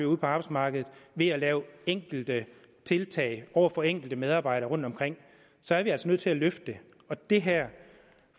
ude på arbejdsmarkedet ved at lave enkelte tiltag over for enkelte medarbejdere rundt omkring så er vi altså nødt til at løfte det det her